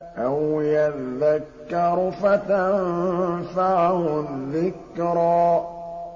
أَوْ يَذَّكَّرُ فَتَنفَعَهُ الذِّكْرَىٰ